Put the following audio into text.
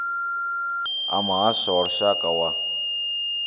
a muhasho wa lushaka wa